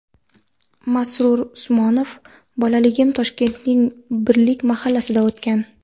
Masrur Usmonov : Bolalagim Toshkentning Birlik mahallasida o‘tgan.